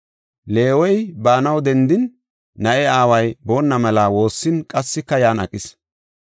Leewey baanaw dendin, na7e aaway boonna mela woossin qassika yan aqis.